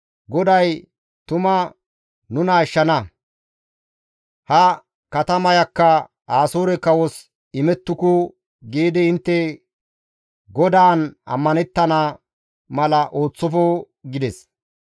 GODAY tuma nuna ashshana; ha katamayakka Asoore kawos imettuku› giidi intte GODAAN ammanettana mala ooththofo» gides.